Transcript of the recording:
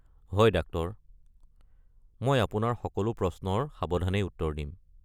হয় ডাক্টৰ! মই আপোনাৰ সকলো প্ৰশ্নৰ সাৱধানেই উত্তৰ দিম।